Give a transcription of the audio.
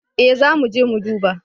Ee zamuje mu duba.